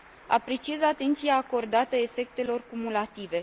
Apreciez atenția acordată efectelor cumulative.